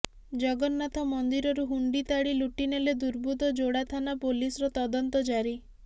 ଜଗନ୍ନାଥ ମନ୍ଦିରରୁ ହୁଣ୍ଡି ତାଡ଼ି ଲୁଟିନେଲେ ଦୁର୍ବୃତ୍ତ ଯୋଡ଼ା ଥାନା ପୋଲିସର ତଦନ୍ତ ଜାରି